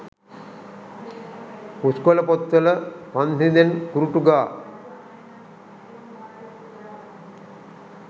පුස්කොල පොත්වල පන්හි‍ඳෙන් කුරුටු ගා